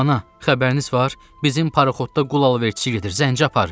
Ana, xəbəriniz var, bizim paroxotda qul alverçisidir, zəncə aparır!